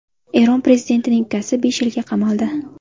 Eron prezidentining ukasi besh yilga qamaldi.